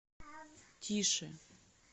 тише